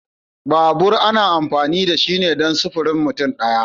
Babur ana amfani da shi ne dan sifirin mutum daya.